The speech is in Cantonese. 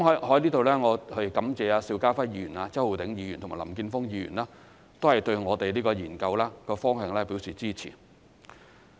我在此感謝邵家輝議員、周浩鼎議員和林健鋒議員對這個研究方向表示支持。